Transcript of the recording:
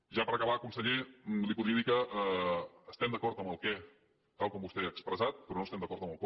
ja per acabar conseller li podria dir que estem d’acord amb el què tal com vostè ha expressat però no estem d’acord amb el com